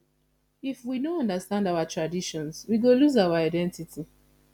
if we no understand our traditions we go lose our identity